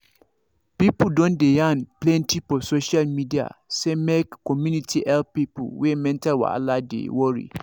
people don dey yarn plenty for social media say make community help people wey mental wahala dey worry